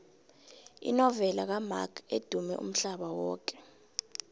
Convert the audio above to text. inovela kamark edumme umhlaba yoke